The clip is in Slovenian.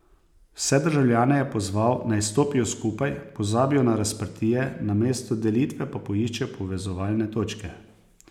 Vse državljane je pozval, naj stopijo skupaj, pozabijo na razprtije, namesto delitve pa poiščejo povezovalne točke.